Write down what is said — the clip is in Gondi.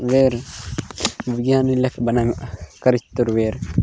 बेर विज्ञान ने लेक बना करीक तोर वेर --